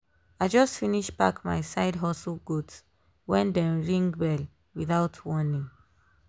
i just finish pack my side hustle goods when dem ring bell without warning.